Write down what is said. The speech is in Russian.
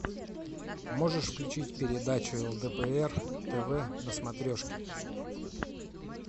можешь включить передачу лдпр тв на смотрешке